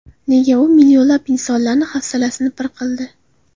Nega u millionlab insonlarni hafsalasini pir qildi?